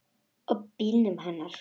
Og bílnum hennar.